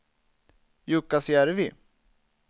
Jukkasjärvi